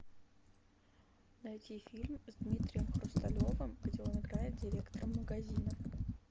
найти фильм с дмитрием хрусталевым где он играет директора магазина